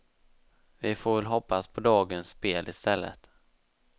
Vi får väl hoppas på dagens spel i stället.